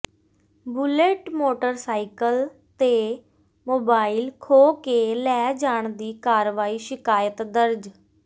bullet motorcycle ਤੇ mobile ਖੋਹ ਕੇ ਲੈ ਜਾਣ ਦੀ ਕਰਵਾਈ ਸ਼ਿਕਾਇਤ ਦਰਜ